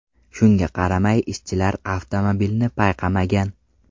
Shunga qaramay ishchilar avtomobilni payqamagan.